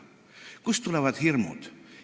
Kust tulevad hirmud?